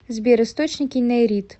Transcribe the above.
сбер источники нейрит